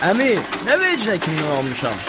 Əmi, nə vecimə kimdən almışam?